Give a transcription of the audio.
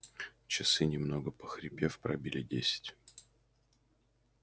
часы немного похрипев пробили десять